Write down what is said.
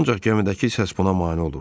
Ancaq gəmidəki səs buna mane olurdu.